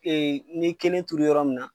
Ee n ɲe kelen turu yɔrɔ min na